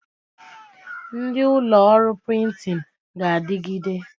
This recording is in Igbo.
Ndị ụlọ ọrụ prịntịn ga-adịgide